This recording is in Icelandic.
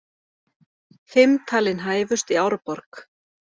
Fimm talin hæfust í Árborg